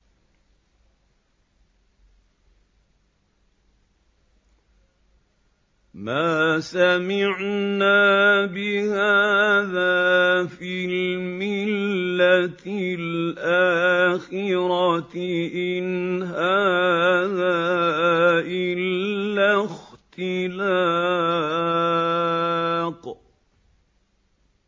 مَا سَمِعْنَا بِهَٰذَا فِي الْمِلَّةِ الْآخِرَةِ إِنْ هَٰذَا إِلَّا اخْتِلَاقٌ